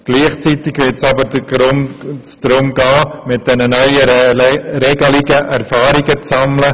Gleichzeitig wird es darum gehen, mit den neuen Regelungen Erfahrungen zu sammeln.